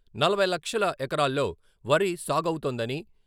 నలభై లక్షల ఎకరాల్లో వరి సాగవుతోందని...